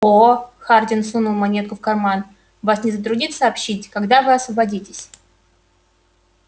о хардин сунул монету в карман вас не затруднит сообщить когда вы освободитесь